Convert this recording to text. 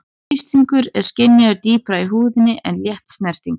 Þrýstingur er skynjaður dýpra í húðinni en létt snerting.